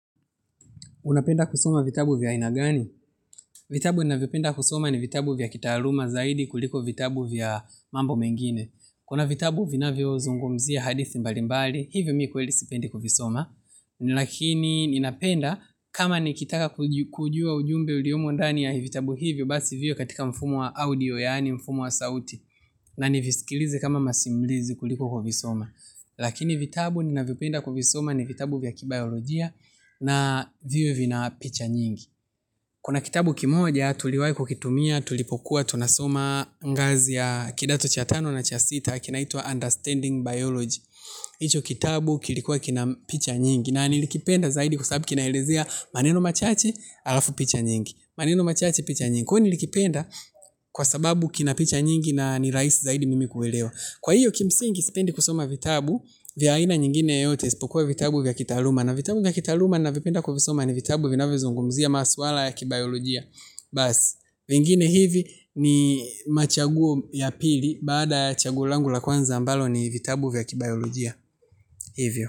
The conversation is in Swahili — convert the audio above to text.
Unapenda kusoma vitabu vya aina gani? Vitabu ninavyopenda kusoma ni vitabu vya kitaaluma zaidi kuliko vitabu vya mambo mengine. Kuna vitabu vinavyozungomzia hadithi mbalimbali, hivyo mi kweli sipendi kuvisoma. Lakini ninapenda kama nikitaka kujua ujumbe uliomo ndani ya vitabu hivyo, basi viwe katika mfumo wa audio, yaani mfumo wa sauti, na nivisikilize kama masimulizi kuliko kuvisoma. Lakini vitabu ninavyopenda kuvisoma ni vitabu vya kibayolojia, na viwe vina picha nyingi. Kuna kitabu kimoja, tuliwahi kukitumia tulipokuwa, tunasoma ngazi ya Kidato cha tano na cha sita. Kinaitwa Understanding Biology. Icho kitabu kilikuwa kina picha nyingi. Na nilikipenda zaidi kwa sababu kinaelezea maneno machache halafu picha nyingi. Maneno machache picha nyingi. Kwani nilikipenda kwa sababu kina picha nyingi. Na nirahisi zaidi mimi kuelewa. Kwa hiyo kimsingi sipendi kusoma vitabu vya aina nyingine yoyote isipokuwa vitabu vya kitaaluma. Na vitabu vya kitaluma ninavyopenda kuvisoma ni vitabu vinavyozungumzia masuala ya kibayolojia. Basi, vingine hivi ni machaguo ya pili. Baada ya chaguo langu la kwanza ambalo ni vitabu vya kibayolojia. Hivyo.